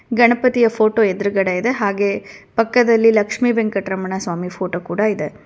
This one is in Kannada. ಗಣಪತಿಯ ಫೋಟೋ ಎದ್ರುಗಡೆ ಇದೆ ಹಾಗೆ ಪಕ್ಕದಲ್ಲಿ ಲಕ್ಷ್ಮಿ ವೆಂಕಟರಮಣ ಸ್ವಾಮಿ ಫೋಟೋ ಕೂಡ ಇದೆ.